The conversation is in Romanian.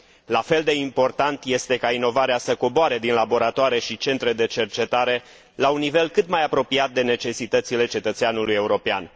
La fel de important este ca inovarea să coboare din laboratoare și centre de cercetare la un nivel cât mai apropiat de necesitățile cetățeanului european.